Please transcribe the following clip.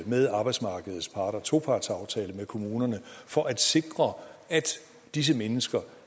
med arbejdsmarkedets parter topartsaftale med kommunerne for at sikre at disse mennesker